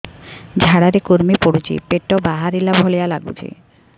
ଝାଡା ରେ କୁର୍ମି ପଡୁଛି ପେଟ ବାହାରିଲା ଭଳିଆ ଲାଗୁଚି